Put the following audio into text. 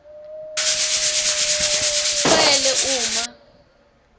shwele uma